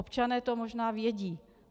Občané to možná vědí.